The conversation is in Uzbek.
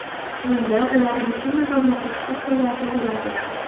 Bunda ular mashina va mototsikllarda yuradi.